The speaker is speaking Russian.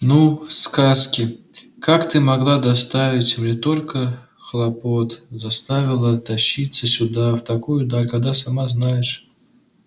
ну сказки как ты могла доставить мне столько хлопот заставила тащиться сюда в такую даль когда сама знаешь у меня и без того дел по горло